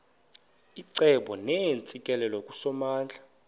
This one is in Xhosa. icebo neentsikelelo kusomandla